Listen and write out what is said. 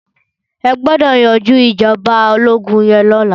Ẹ gbọ́dọ̀ yanjú ìjọba ológún yẹn lọ́la.